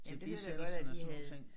Jamen det hørte jeg godt at de havde